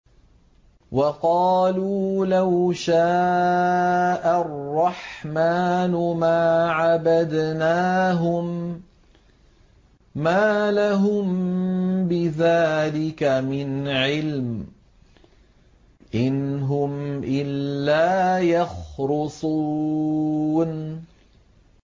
وَقَالُوا لَوْ شَاءَ الرَّحْمَٰنُ مَا عَبَدْنَاهُم ۗ مَّا لَهُم بِذَٰلِكَ مِنْ عِلْمٍ ۖ إِنْ هُمْ إِلَّا يَخْرُصُونَ